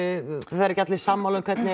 það eru ekki allir sammála um hvernig